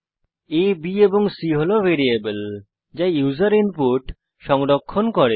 a b এবং c হল variable যা ইউসার ইনপুট সংরক্ষণ করে